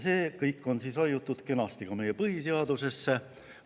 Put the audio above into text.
See kõik on kenasti raiutud ka meie põhiseadusesse.